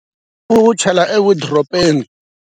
U wu chele ewolidiropeni.